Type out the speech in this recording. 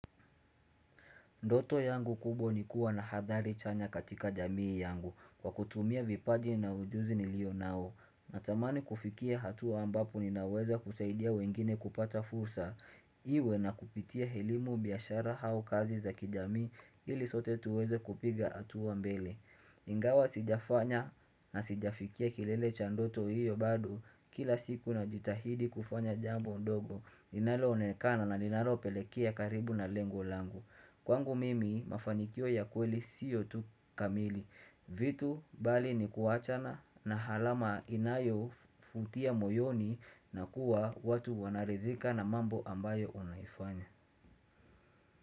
Ndoto yangu kubwa ni kuwa na hathali chanya katika jamii yangu kwa kutumia vipaji na ujuzi nilio nao. Natamani kufikia hatua ambapo ninaweza kusaidia wengine kupata fursa iwe na kupitia elimu, biashara au kazi za kijamii ili sote tuweze kupiga hatua mbele. Ingawa sijafanya na sijafikia kilele cha ndoto hiyo bado kila siku najitahidi kufanya jambo ndogo. Linaloonekana na linalopelekea karibu na lengo langu. Kwangu mimi mafanikio ya kweli sio tu kamili vitu bali ni kuachana na alama inayovutia moyoni na kuwa watu wanaridhika na mambo ambayo unaifanya.